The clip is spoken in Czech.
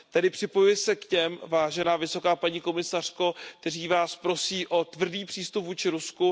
Tedy připojuji se k těm, vážená paní vysoká představitelko, kteří Vás prosí o tvrdý přístup vůči Rusku.